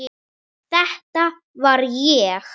Þetta var ég.